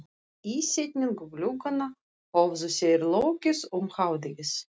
Ísetningu glugganna höfðu þeir lokið um hádegið.